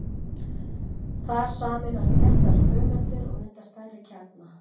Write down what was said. Þar sameinast léttar frumeindir og mynda stærri kjarna.